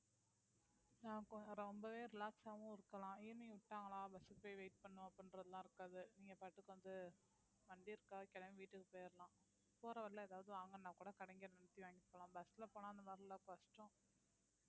ரொம்பவே relax ஆவும் இருக்குலாம் evening விட்டார்களா bus கு போய் wait பண்ணனும் அப்பிடீன்றதுலாம் இருக்காது நீங்க பாட்டுக்கு வந்து வண்டி இருக்கா கெளம்பி வீட்டுக்கு போயிரலாம் போற வழியில ஏதாவது வாங்கணும்னா கூட கடைல நிறுத்தி வாங்கிட்டு போலாம் bus ல போன இந்த மாதிரி எல்லாம் கஷ்டம்